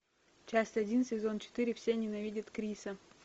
часть один сезон четыре все ненавидят криса